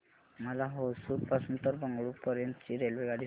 मला होसुर पासून तर बंगळुरू पर्यंत ची रेल्वेगाडी सांगा